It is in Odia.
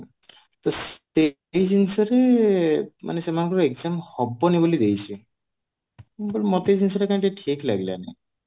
ତ ସେଇ ଜିନିଷରେ ମାନେ ସେମାନଙ୍କ exam ହବନି ବୋଲି ଦେଇଛି but ମତେ ଏଇ ଜିନିଷ ଟା କାଇଁ ଠିକ ଲାଗିଲାନି